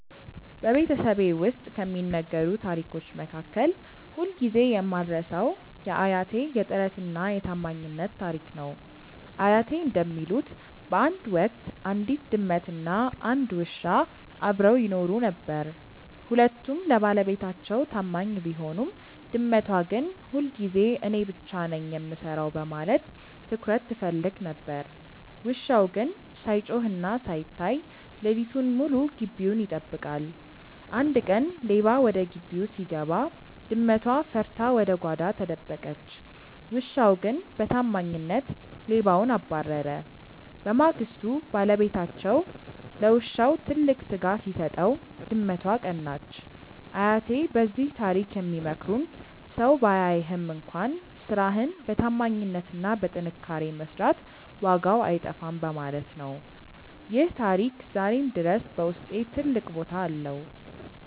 በቤተሰቤ ውስጥ ከሚነገሩ ታሪኮች መካከል ሁልጊዜ የማልረሳው የአያቴ "የጥረትና የታማኝነት" ታሪክ ነው። አያቴ እንደሚሉት፣ በአንድ ወቅት አንዲት ድመትና አንድ ውሻ አብረው ይኖሩ ነበር። ሁለቱም ለባለቤታቸው ታማኝ ቢሆኑም፣ ድመቷ ግን ሁልጊዜ እኔ ብቻ ነኝ የምሰራው በማለት ትኩረት ትፈልግ ነበር። ውሻው ግን ሳይጮህና ሳይታይ ሌሊቱን ሙሉ ግቢውን ይጠብቃል። አንድ ቀን ሌባ ወደ ግቢው ሲገባ፣ ድመቷ ፈርታ ወደ ጓዳ ተደበቀች። ውሻው ግን በታማኝነት ሌባውን አባረረ። በማግስቱ ባለቤታቸው ለውሻው ትልቅ ስጋ ሲሰጠው፣ ድመቷ ቀናች። አያቴ በዚህ ታሪክ የሚመክሩን ሰው ባያይህም እንኳን ስራህን በታማኝነትና በጥንካሬ መስራት ዋጋው አይጠፋም በማለት ነው። ይህ ታሪክ ዛሬም ድረስ በውስጤ ትልቅ ቦታ አለው።